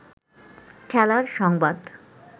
খেলার সংবাদ